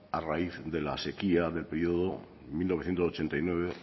a raíz de la sequía del periodo mil novecientos ochenta y nueve